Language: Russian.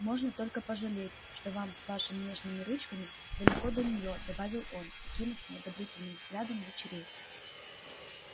можно только пожалеть что вам с вашими нежными ручками далеко до неё добавил он окинув неодобрительным взглядом дочерей